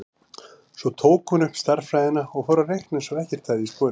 Svo tók hún upp stærðfræðina og fór að reikna eins og ekkert hefði í skorist.